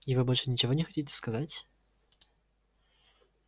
и вы больше ничего не хотите сказать